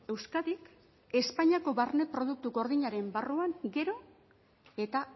euskadik espainiako barne produktu gordinaren barruan gero eta